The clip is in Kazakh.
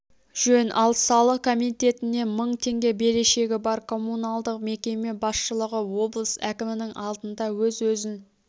жөн ал салық комитетіне мың теңге берешегі бар коммуналдық мекеме басшылығы облыс әкімінің алдында өз-өзін